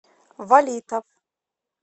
валитов